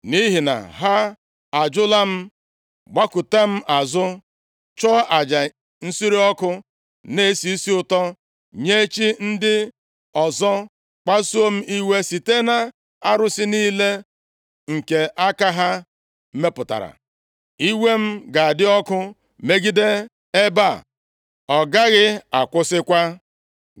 Nʼihi na ha ajụla m, gbakụta m azụ, chụọ aja nsure ọkụ na-esi isi ụtọ nye chi ndị ọzọ, kpasuo m iwe site na arụsị niile nke aka ha mepụtara. Iwe m ga-adị ọkụ megide ebe a, ọ gaghị akwụsịkwa.’